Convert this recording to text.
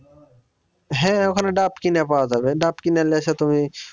হ্যাঁ ওখানে ডাব কিনে পাওয়া যাবে। ডাব কিনে নিয়ে এসে তুমি